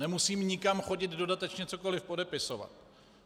Nemusím nikam chodit dodatečně cokoli podepisovat.